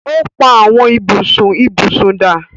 o pá Àwọn ibùsùn ibusùn dá.